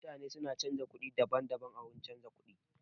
Mutane su na canza kuɗi daban-daban a wurin canza kuɗi.